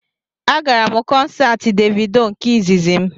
Agara m kọnsaati Devido nke izizi m